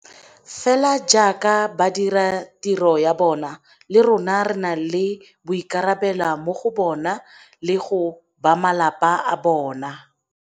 Fela jaaka ba dira tiro ya bona, le rona re na le boikarabelo mo go bona le go bamalapa a bona.